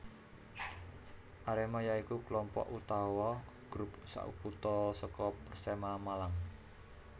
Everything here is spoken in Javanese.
Arema ya iku kelompok utawa grup sakutha saka Persema Malang